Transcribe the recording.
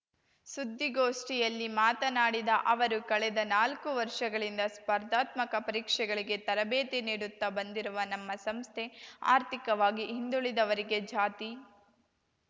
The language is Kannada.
ಸುದ್ದಿಗೋಷ್ಠಿಯಲ್ಲಿ ಮಾತನಾಡಿದ ಅವರು ಕಳೆದ ನಾಲ್ಕು ವರ್ಷಗಳಿಂದ ಸ್ಪರ್ಧಾತ್ಮಕ ಪರೀಕ್ಷೆಗಳಿಗೆ ತರಬೇತಿ ನೀಡುತ್ತ ಬಂದಿರುವ ನಮ್ಮ ಸಂಸ್ಥೆ ಆರ್ಥಿಕವಾಗಿ ಹಿಂದುಳಿದವರಿಗೆ ಜಾತಿ